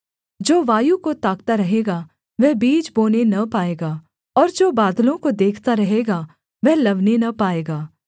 जो वायु को ताकता रहेगा वह बीज बोने न पाएगा और जो बादलों को देखता रहेगा वह लवने न पाएगा